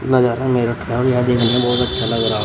नजारा में बहुत अच्छा लग रहा--